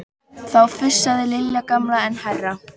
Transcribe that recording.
Þá fussaði Lilja gamla enn hærra.